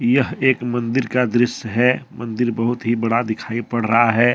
यह एक मंदिर का दृश्य है मंदिर बहुत ही बड़ा दिखाई पड़ रहा है।